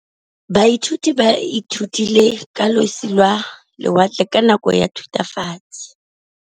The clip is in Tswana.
Baithuti ba ithutile ka losi lwa lewatle ka nako ya Thutafatshe.